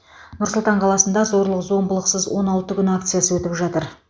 нұр сұлтан қаласында зорлық зомбылықсыз он алты күн акциясы өтіп жатыр